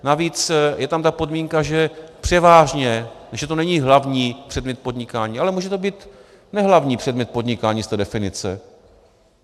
Navíc je tam ta podmínka, že převážně, že to není hlavní předmět podnikání, ale může to být nehlavní předmět podnikání z té definice.